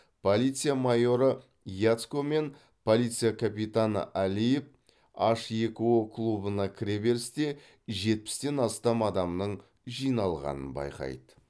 полиция майоры яцко мен полиция капитаны алиев аш екі о клубына кіре берісте жетпістен астам адамның жиналғанын байқайды